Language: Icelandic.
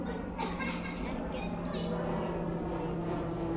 Ekkert vofði yfir mér.